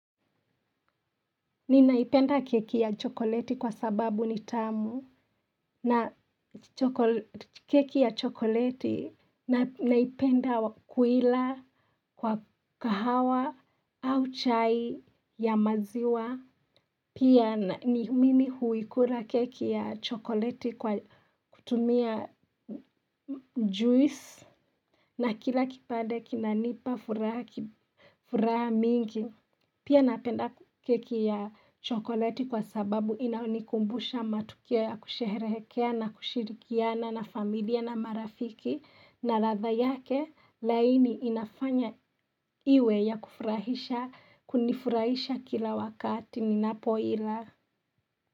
Ninaipenda keki ya chokoleti kwa sababu ni tamu na keki ya chokoleti naipenda kuila kwa kahawa au chai ya maziwa. Pia ni mini huikula keki ya chokoleti kwa kutumia juice na kila kipande kinanipa furaha mingi. Pia napenda keki ya chokoleti kwa sababu inanikumbusha matukio ya kusheherekea na kushirikiana na familia na marafiki. Na ladha yake laini inafanya iwe ya kufurahisha, kunifurahisha kila wakati, ninapo ila.